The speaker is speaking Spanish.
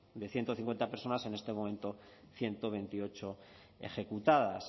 de ciento cincuenta personas en este momento ciento veintiocho ejecutadas